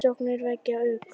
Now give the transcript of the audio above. Umsóknirnar vekja ugg